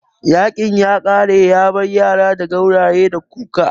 Yaƙin ya kare yabar yara da gauraye da kuka